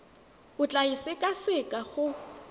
o tla e sekaseka go